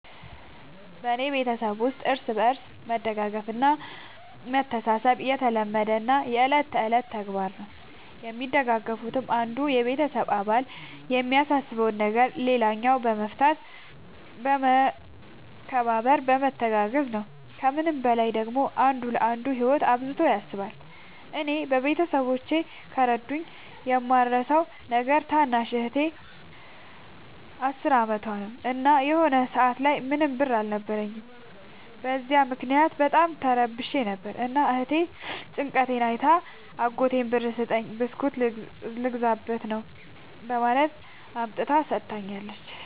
በኔ ቤተሠብ ውስጥ እርስ በርስ መደጋገፍ እና መተሣሠብ የተለመደና የእለት ከእለት ተግባር ነው። የሚደጋገፉትም አንዱ የቤተሰብ አባል የሚያሳስበውን ነገር ሌላኛው በመፍታት በመከባበር በመተጋገዝ ነው። ከምንም በላይ ደግሞ አንዱ ለአንዱ ህይወት አብዝቶ ያስባል። እኔ ቤተሠቦቼ ከረዱኝ የማረሣው ነገር ታናሽ እህቴ አስር አመቷ ነው። እና የሆነ ሰአት ላይ ምንም ብር አልነበረኝም። በዚያ ምክንያት በጣም ተረብሼ ነበር። እና እህቴ ጭንቀቴን አይታ አጎቷን ብር ስጠኝ ብስኩት ልገዛበት ነው በማለት አምጥታ ሠጥታኛለች።